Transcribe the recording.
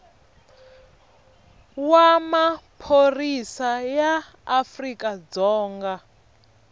wa maphorisa ya afrika dzonga